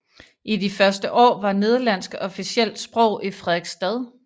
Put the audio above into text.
I de første år var nederlandsk officielt sprog i Frederiksstad